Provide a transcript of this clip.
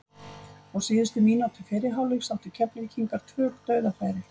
Á síðustu mínútu fyrri hálfleiks áttu Keflvíkingar tvö dauðafæri.